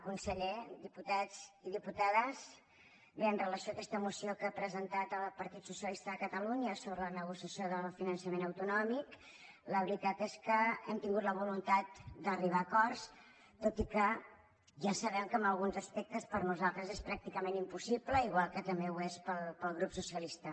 conseller diputats i diputades bé amb relació a aquesta moció que ha presentat el partit socialista de catalunya sobre la negociació del finançament autonòmic la veritat és que hem tingut la voluntat d’arribar a acords tot i que ja sabem que en alguns aspectes per a nosaltres és pràcticament impossible igual que també ho és per al grup socialista